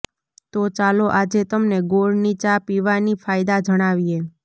તો ચાલો આજે તમને ગોળની ચા પીવાના ફાયદા જણાવીએ